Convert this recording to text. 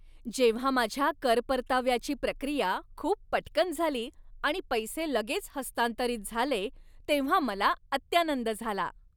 जेव्हा माझ्या कर परताव्याची प्रक्रिया खूप पटकन झाली आणि पैसे लगेच हस्तांतरित झाले तेव्हा मला अत्यानंद झाला.